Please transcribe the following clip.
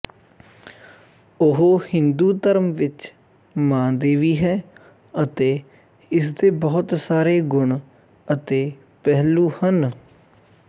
ਉਹ ਹਿੰਦੂ ਧਰਮ ਵਿੱਚ ਮਾਂ ਦੇਵੀ ਹੈ ਅਤੇ ਇਸਦੇ ਬਹੁਤ ਸਾਰੇ ਗੁਣ ਅਤੇ ਪਹਿਲੂ ਹਨ